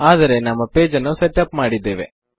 ಆದರೆ ನಮ್ಮ ಪೇಜ್ ನ್ನು ಸೆಟ್ ಅಪ್ ಮಾಡಿದ್ದೇವೆ